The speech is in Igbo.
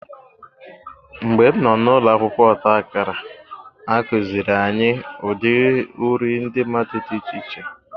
Mgbe m nọ n'ụlọ akwụkwọ ọta akara, a kụziiri anyị ụdị uri ndị mmadụ dị iche iche.